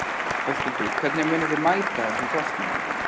Höskuldur: Hvernig munið þið mæta þessum kostnaði?